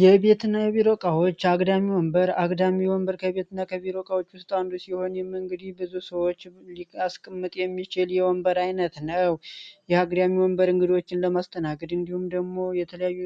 የቤትና ቢሮቃዎች አግዳሚ ወንበር አግዳሚ የወንበር ከብየትና ከቢሮቃዎች ውስጣ አንዱ ሲሆን የምእንግዲ ብዙ ሰዎች ስቅምጥ የሚችል የወንበር ዓይነት ነው የአግዳሚ ወንበር እንግዶችን ለማስተናግድ እንዲሁም ደግሞ የተለያዩ